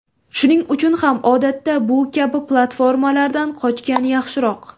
Shuning uchun ham odatda bu kabi platformalardan qochgan yaxshiroq.